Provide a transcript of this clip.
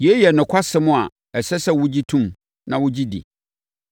Yei yɛ nokwasɛm a ɛsɛ sɛ wɔgye tom na wɔgye di.